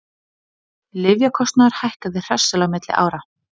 Lyfjakostnaður hækkaði hressilega milli ára